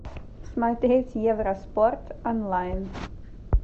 смотреть евроспорт онлайн